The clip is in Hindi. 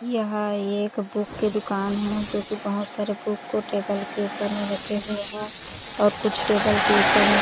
यहाँ एक बुक की दुकान है जो कि बहुत सारे बुक को टेबल के ऊपर में रखें हुए है और कुछ टेबल के ऊपर में--